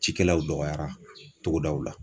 Cikɛlaw dɔgɔyara togodaw la